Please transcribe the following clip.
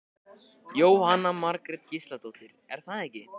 Jóhanna Margrét Gísladóttir: Er það ekki?